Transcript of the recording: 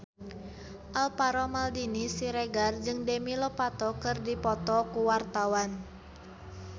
Alvaro Maldini Siregar jeung Demi Lovato keur dipoto ku wartawan